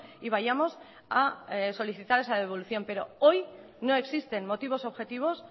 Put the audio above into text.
y vayamos a solicitar esa devolución pero hoy no existen motivos objetivos